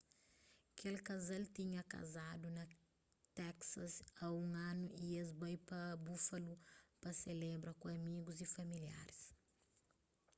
kel kazal tinha kazadu na teksas a un anu y es bai pa buffalo pa selebra ku amigus y familiaris